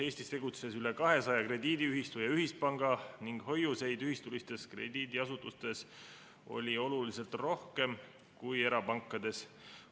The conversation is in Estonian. Eestis tegutses üle kahesaja krediidiühistu ja ühispanga ning hoiuseid oli ühistulistes krediidiasutustes oluliselt rohkem kui erapankades.